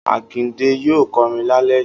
Akande yóò kọrin lálẹ́ yìí.